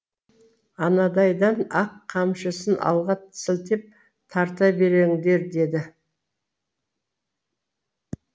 анадайдан ақ қамшысын алға сілтеп тарта беріңдер деді